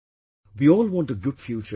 We all want a good future for our children